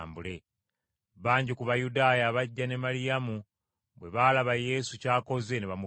Bangi ku Bayudaaya abajja ne Maliyamu bwe baalaba Yesu ky’akoze ne bamukkiriza.